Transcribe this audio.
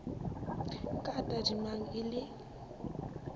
ka a tadimang e le